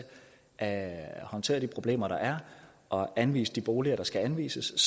at håndtere de problemer der er og anvise de boliger der skal anvises